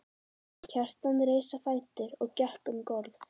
Kjartan reis á fætur og gekk um gólf.